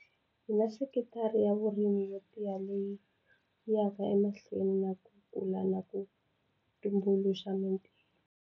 Hi na sekitara ya vurimi yo tiya leyi yi yaka emahlweni na ku kula na ku tumbuluxa mitirho.